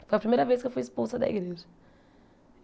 Foi a primeira vez que eu fui expulsa da igreja.